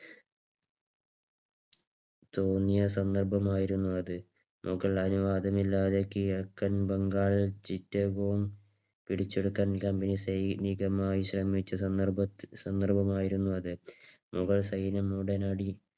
തോന്നിയ സന്ദർഭം ആയിരുന്നു അത്. മുകൾ അനുവാദമില്ലാതെ കിഴക്കൻ ബംഗാളിൽ ചിറ്റകവും പിടിച്ചെടുക്കാൻ തമിഴ്സൈനികർ സൈനികമായി ശ്രമിച്ച സന്ദർഭമായിരുന്നു അത്. മുഗൾ സൈന്യം ഉടനടി